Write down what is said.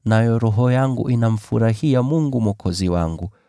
nayo roho yangu inamfurahia Mungu Mwokozi wangu,